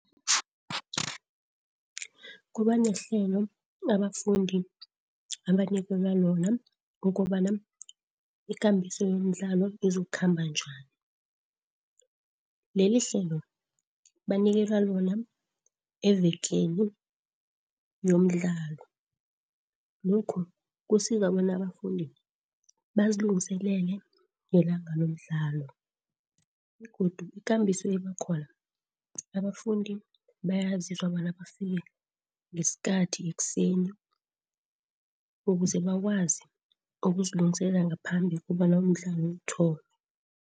Kuba nehlelo abafundi abanikelwa lona ukobana ikambiso yomdlalo izokukhamba njani. Lelihlelo banikelwa lona evekeni yomdlalo. Lokhu kusiza bona abafundi bazilungiselele ngelanga lomdlalo begodu ikambiso ebakhona abafundi bayaziswa bona bafike ngesikhathi, ekuseni ukuze bakwazi ukuzilungiselela ngaphambi kobana umdlalo uthome.